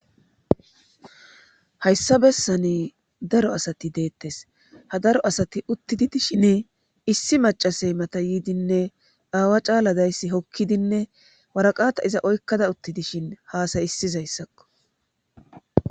Hayssa bessani daro asati deettes ha daro asati uttidi dishin issi macasey mata yiidinne aawa caala dayssi hokkidinne waraqata iza oykkada utti dishin haasay issizayssakko.